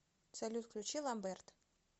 салют включи ламберт